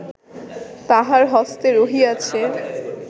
তাঁহার হস্তে রহিয়াছে